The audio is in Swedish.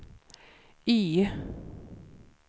Y